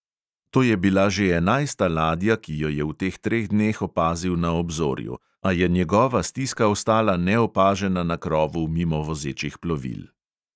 To je bila že enajsta ladja, ki jo je v teh treh dneh opazil na obzorju, a je njegova stiska ostala neopažena na krovu mimovozečih plovil.